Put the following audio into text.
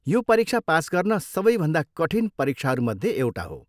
यो परीक्षा पास गर्न सबैभन्दा कठिन परीक्षाहरूमध्ये एउटा हो।